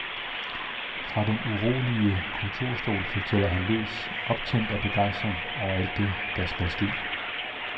Fra den urolige kontorstol fortæller han løs, optændt af begejstring over alt det, der skal ske.